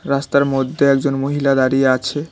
রাস্তার মধ্যে একজন মহিলা দাঁড়িয়ে আছে।